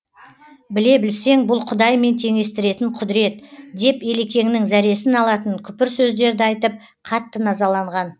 біле білсең бұл құдаймен теңестіретін құдірет деп елекеңнің зәресін алатын күпір сөздерді айтып қатты назаланған